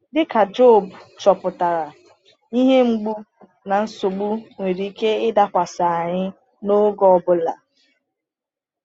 Dịka Jọb chọpụtara, ihe mgbu na nsogbu nwere ike ịdakwasị anyị n’oge ọ bụla.